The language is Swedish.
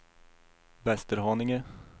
Västerhaninge